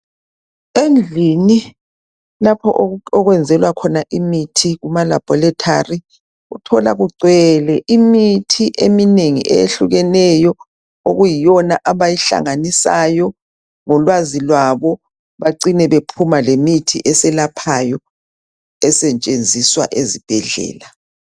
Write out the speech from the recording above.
Endlini lapho okwenzelwa khona imithi kuma laboratory uthola kugcwele imithi eminengi eyehlukeneyo okuyiyona abayihlanganisayo ngolwazi lwabo bacine bephuma lemithi eselaphayo esetshenziswa ezibhedlela.